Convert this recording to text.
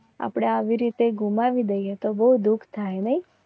પણ રોકાણ કરવું એટલે બહુ વિચાર કરીને રોકાણ કરવું પડે છે. આપણે મહેનતની ખૂન પસીના ની કમાઈ ને